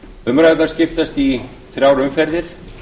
umræðurnar skiptast í þrjár umferðir